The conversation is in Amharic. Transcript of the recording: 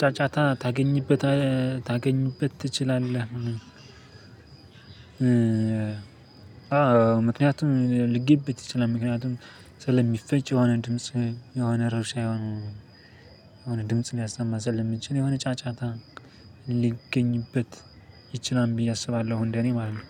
ጫጫታ ታገኝበት ታገኙበት ትችላለህ ምክያቱም ሊገኝበት ይችላል። ምክያቱም ስለሚፈጭ የሆነ ድምጽ የሆነ ረብሻ የሆነ ድምጽ ሊያሰማ ስለሚችል የሆነ ጫጫታ ሊገኝበት ይችላል ብዬ አስባለሁ። እንደእኔ ማለት ነው።